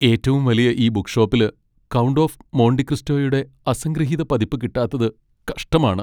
ഏറ്റവും വലിയ ഈ ബുക്ക് ഷോപ്പില് "കൗണ്ട് ഓഫ് മോണ്ടി ക്രിസ്റ്റോ" യുടെ അസംഗൃഹീത പതിപ്പ് കിട്ടാത്തത് കഷ്ടമാണ്.